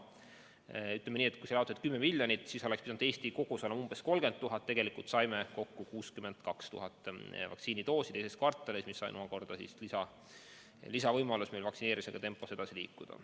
Ütleme nii, et kui doose oli 10 miljonit, siis oleks pidanud Eesti kogus olema umbes 30 000, aga tegelikult saime teises kvartalis 62 000 vaktsiinidoosi, mis andis lisavõimaluse vaktsineerimisega kiiremas tempos edasi liikuda.